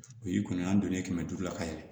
O ye kɔni an donnen kɛmɛ duuru la ka yɛlɛ